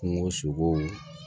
Kungo sogow